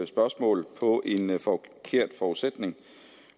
spørgsmål på en forkert forudsætning